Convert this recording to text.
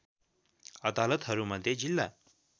अदालतहरू मध्ये जिल्ला